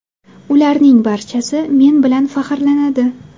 Ularning barchasi men bilan faxrlanadi.